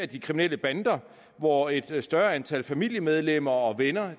de kriminelle bander hvor et større antal familiemedlemmer og venner